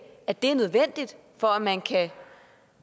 at det er nødvendigt for at man kan